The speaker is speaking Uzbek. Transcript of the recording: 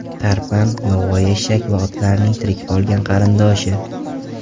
Tarpan, yovvoyi eshak va otlarning tirik qolgan qarindoshi.